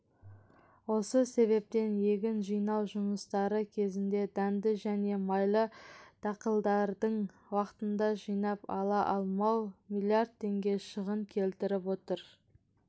осы себептен егін жинау жұмыстары кезінде дәнді және майлы дақылдардың уақытында жинап ала алмау млрд теңге шығын келтіріп отыр